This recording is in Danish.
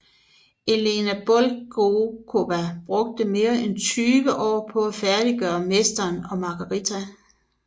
Elana Bulgakova brugte mere end tyve år på at færdiggøre Mesteren og Margarita